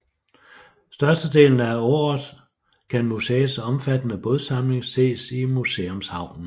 Størstedelen af året kan museets omfattende bådsamling ses i Museumshavnen